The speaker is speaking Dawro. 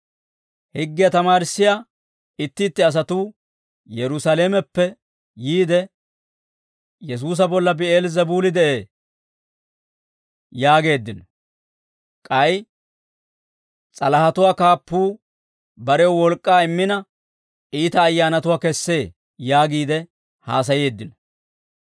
Higgiyaa tamaarissiyaa itti itti asatuu Yerusaalameppe yiide, «Yesuusa bolla Bi'eel-Zebuuli de'ee» yaageeddino; k'ay, «S'alahatuwaa kaappuu barew wolk'k'aa immina, iita ayyaanatuwaa kessee» yaagiide haasayeeddino.